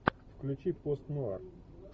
включи пост нуар